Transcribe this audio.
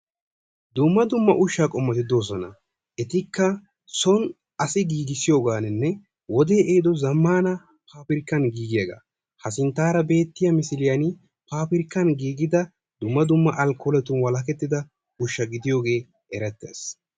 Dumma dumma ushshaa qommoti de'oosona. Etikka son asay giigissiyogaanne wodee ehiido zammaana paabirkkan giigiyagaa. Ha sinttaara beettiya misiliyani paabirkkan giigida dumma dumma alkkoole ushsha gidiyogee erettees.